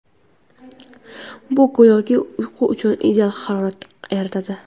Bu go‘yoki uyqu uchun ideal harorat yaratadi.